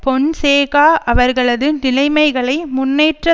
பொன்சேகா அவர்களது நிலைமைகளை முன்னேற்ற